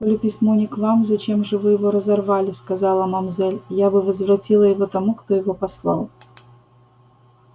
коли письмо не к вам зачем же вы его разорвали сказала мамзель я бы возвратила его тому кто его послал